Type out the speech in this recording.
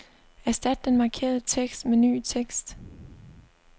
Erstat den markerede tekst med ny tekst.